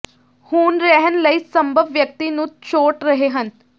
ਹੁਣ ਰਹਿਣ ਲਈ ਸੰਭਵ ਵਿਅਕਤੀ ਨੂੰ ਛੋਟ ਰਹੇ ਹਨ